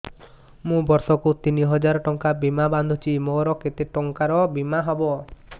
ମୁ ବର୍ଷ କୁ ତିନି ହଜାର ଟଙ୍କା ବୀମା ବାନ୍ଧୁଛି ମୋର କେତେ ଟଙ୍କାର ବୀମା ହବ